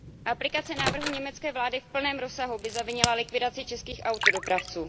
Aplikace návrhu německé vlády v plném rozsahu by zavinila likvidaci českých autodopravců.